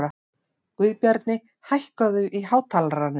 Guðbjarni, hækkaðu í hátalaranum.